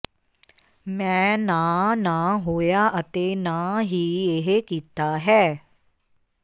ਮੈਂ ਨਾ ਨਾ ਹੋਇਆ ਅਤੇ ਨਾ ਹੀ ਇਹ ਕੀਤਾ ਹੈ